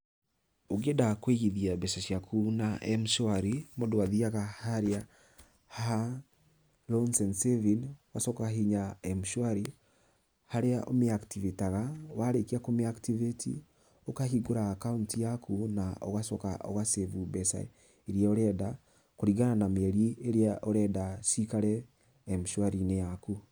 Ũkĩenda kũigithia mbeca ciaku na M-shwari, mũndũ athiaga haria ha loans and savings ũgacoka ũkahihinya M-shwari harĩa ũmĩakitibĩtaga warĩkia kũmĩakitibĩti ũkahingũra akaũnti yaku na ũgacoka ũgacĩbu mbeca iria ũrenda kũringana na mĩeri ĩrĩa ũrenda cikare m-shwarinĩ yaku.